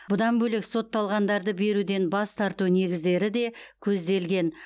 бұдан бөлек сотталғандарды беруден бас тарту негіздері де көзделген